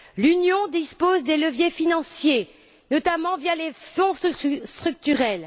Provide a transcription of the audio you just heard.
L'Union dispose des leviers financiers, notamment via les fonds structurels.